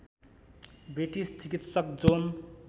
British चिकित्सक John